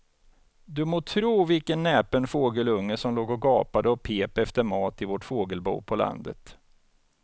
Du må tro vilken näpen fågelunge som låg och gapade och pep efter mat i vårt fågelbo på landet.